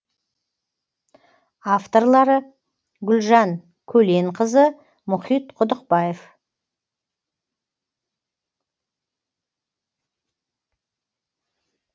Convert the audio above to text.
авторлары гүлжан көленқызы мұхит құдықбаев